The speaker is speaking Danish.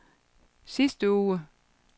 sidste uge